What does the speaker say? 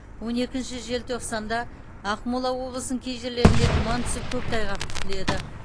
он екінші желтоқсанда ақмола облысының кей жерлерінде тұман түсіп көктайғақ күтіледі